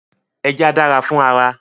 Ẹja dára fún ara